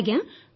ଆଜ୍ଞା